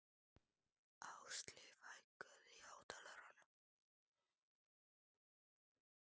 Ásleif, hækkaðu í hátalaranum.